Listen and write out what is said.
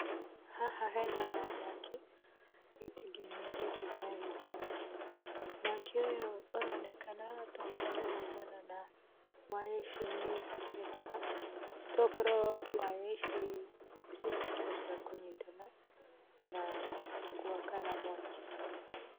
Haha hena mwaki, gĩtingĩ-inĩ gĩkĩ gĩa thitima. Mwaki ũyũ ũronekana tokorwo waumana na waya ici nyingĩ ciĩ haha, tokorwo waya ici ciakorwo cia kũnyitana, na gwakana mwaki.